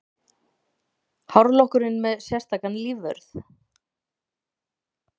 Hárlokkurinn með sérstakan lífvörð